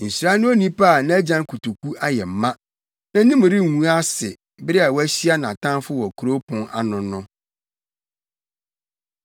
Nhyira ne onipa a nʼagyan kotoku ayɛ ma. Nʼanim rengu ase bere a wahyia nʼatamfo wɔ kurow pon ano no.